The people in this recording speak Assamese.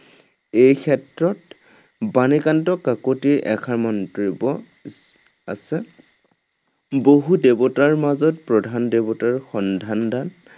এই ক্ষেত্ৰত, বাণীকান্ত কাকতিৰ এষাৰ মন্তব্য স্মৰ্তৱ্য আছে। ‘বহু দেৱতাৰ মাজত প্ৰধান দেৱতাৰ সন্ধান দান